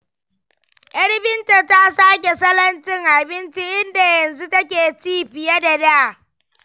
Yar Binta ta sake salon cin abinci, inda yanzu take ci fiye da da.